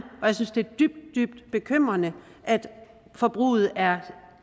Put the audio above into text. og jeg synes det er dybt dybt bekymrende at forbruget er